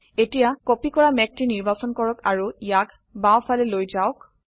এতিয়া কপি কৰা মেঘটি নিৰ্বাচন কৰক আৰো ইয়াক বাও ফালে লৈ যাওক